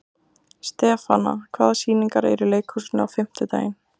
Stefana, hvaða sýningar eru í leikhúsinu á fimmtudaginn?